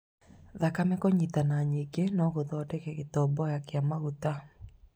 Thakame kũnyitana nyingĩ nogũthondeke gĩtomboya kĩa maguta